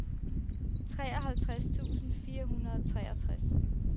treoghalvtreds tusind fire hundrede og treogtres